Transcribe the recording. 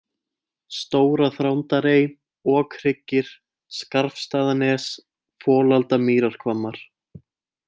Stóra-Þrándarey, Okhryggir, Skarfsstaðanes, Folaldamýrarhvammar